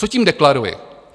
Co tím deklaruji?